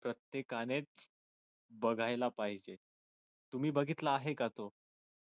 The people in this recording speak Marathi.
प्रत्येकानेच बघायला पाहिजे तुम्ही बघितला आहे का तो